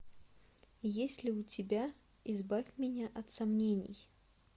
есть ли у тебя избавь меня от сомнений